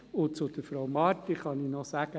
Und zu Frau Marti kann ich noch sagen: